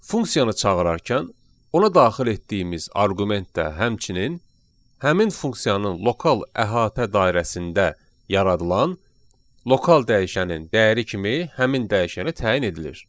Funksiyanı çağırarkən ona daxil etdiyimiz arqument də həmçinin həmin funksiyanın lokal əhatə dairəsində yaradılan lokal dəyişənin dəyəri kimi həmin dəyişəni təyin edilir.